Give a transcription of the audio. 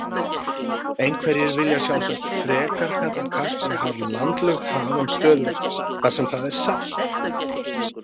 Einhverjir vilja sjálfsagt frekar kalla Kaspíahaf landlukt haf en stöðuvatn þar sem það er salt.